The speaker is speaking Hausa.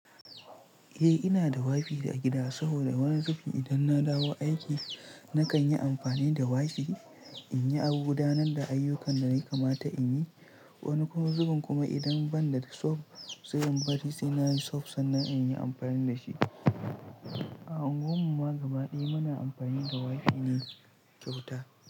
Eh ina da WiFi a gida saboda wani zubin idan na dawo aiki nakan yi amfani da Wi-fi in yi abu gudanar da ayyukan da nayi kamata in yi. Wani kuma zubin kuma idan ban da soft sai in bari sai na yi soft sannan in yi amfani da shi. A unguwarmu ma gaba ɗaya muna amfani da Wi-fi ne kyauta.